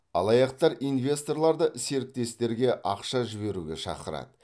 алаяқтар инвесторларды серіктестерге ақша жіберуге шақырады